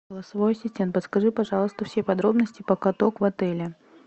голосовой ассистент подскажи пожалуйста все подробности про каток в отеле